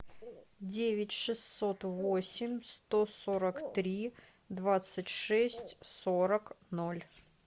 девять шестьсот восемь сто сорок три двадцать шесть сорок ноль